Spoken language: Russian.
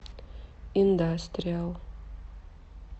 индастриал